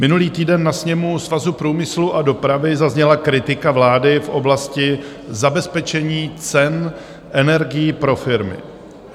Minulý týden na sněmu Svazu průmyslu a dopravy zazněla kritika vlády v oblasti zabezpečení cen energií pro firmy.